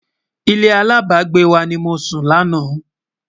ilé alábágbé wà nì mọ sùn lànà